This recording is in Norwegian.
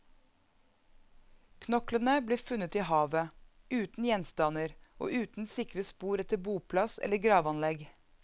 Knoklene ble funnet i havet, uten gjenstander, og uten sikre spor etter boplass eller gravanlegg.